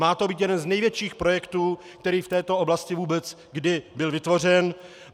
Má to být jeden z největších projektů, který v této oblasti vůbec kdy byl vytvořen.